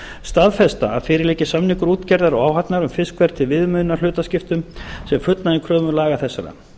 staðfesta að fyrir liggi samningur útgerðar og áhafnar um fiskverð til viðmiðunar hlutaskiptum sem fullnægir kröfum laga þessara